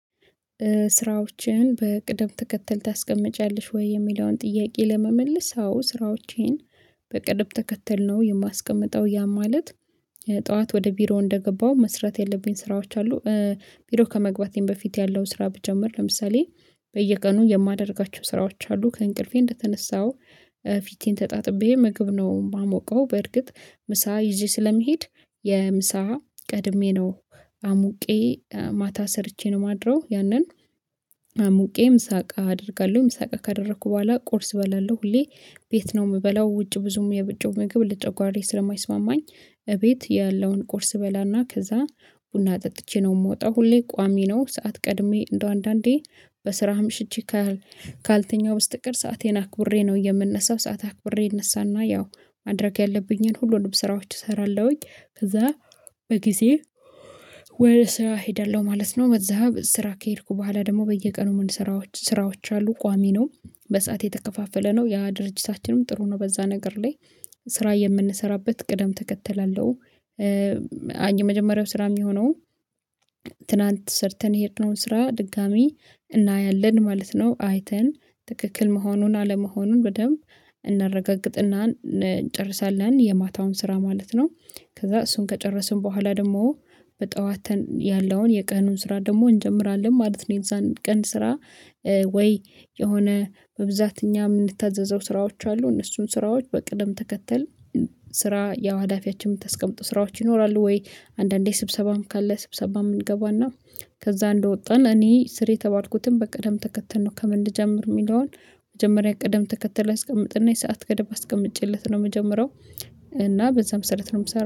ስራዎችህን በቅደም ተከተል ታስቀምጪያለሽ? ወይ የሚለውን ጥያቄ ለመመለስ አዎ ስራዎቼን በቅድም ተከተል ነው የማስቀምጠው ያ ማለት ጡዋት ወደ ቢሮ እንደገባሁ መስራት የለብኝ ስራዎች አሉ ቪዲዮ ከመግባቴም በፊት ያለውን ስራ ብጀምር ለምሳሌ በየቀኑ የማደርጋቸው ስራዎች አሉ ከእንቅልፌ እንደተነሳው ፊቴን ተጣጥቤ ምግብ ነው የማሞቀው በርግጥ ምሳ ይዤ ስለሚሄድ የምሳ ቀድሜ ነው አሙቄ ማታ ሰርቼ ነው ማድረው ያንን ሙቄም ሳቀ አደርጋለሁኝ ሳቀ ካደረኩ ቦኋላ ቁርስ እበላለሁ ሁሌ ቤት ነው የምበላው ውጭ ብዙም የዉጪ ምግብ ልጨጓሬ ስለማይስማማኝ እቤት ያለውን ቁርስ አበላና ከዛ ቡና ጠጥቼ ነው የምወጣው ሁሌ ቋሚ ነው ሰዓት ቀድሜ እንደው አንዳንዴ በስራ አምሽቼ ካልተኛሁ በስተቀር ሰአቴን አክብሬ ነው የምነሳው ሰዓት አክብሬ ይነሳና ያው ማድረግ ያለብኝን ሁሉንም ስራዎች እሰራለሁኝ ከዛ በጊዜ ወደ ስራ እሄዳለሁ ማለት ነው በዛ ስራ ከሄድኩ ቦኋላ ደግሞ በየቀኑ ምን ስራዎች ስራዎች አሉ ቋሚ ነው በሰአት የተከፋፈለ ነው ያ ድርጅታችንም ጥሩ ነው በዛ ነገር ላይ ስራ የምንሰራበት ቅደም ተከተል አለው የመጀመሪያው ስራ የሚሆነውን ትላንት ሰርተን የሄድነውን ስራ ድጋሚ እናያለን ማለት ነው አይተን ትክክል መሆኑን አለመሆኑን በደንብ እናረጋግጥና እንጨርሳለን የማታውን ስራ ማለት ነው። ከዛ እሱን ከጨረስን ቦኋላ ደግሞ በጡዋት ያለውን የቀኑን ስራ ደግሞ እንጀምራለን ማለት ነው የእዛን ቀን ስራ ወይ የሆነ በብዛት እኛ የምንታዘዘው ስራዎች አሉ እነሱን ስራዎች በቅደም ተከተል ስራ ያዋዳፊያችን የምታስቀምጡ ስራዎች ይኖራሉ ወይ አንዳንዴ ስብሰባም ካለ ስብሰባም አንገባና ከዛ እንደወጣን እኔ ስር የተባልኩትን በቅደም ተከተል ነው ከምን ልጀምር የሚለውን መጀመሪያ ቅደም ትከተል አስቀምጥና የሰዓት ገደብ አስቀምጬለት ነው የምጀምረው እና በዛ መሰረት ነው የምሰራው።